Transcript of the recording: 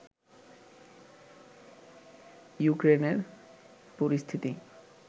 ইউক্রেনের পরিস্থিতি